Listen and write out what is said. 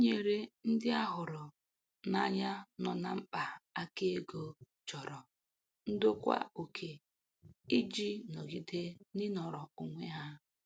Inyere ndị a hụrụ n'anya nọ na mkpa aka ego chọrọ ndokwa oke iji nọgide n'inọrọ onwe ha.